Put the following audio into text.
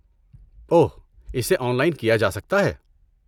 اوہ، اسے online کیا جا سکتا ہے؟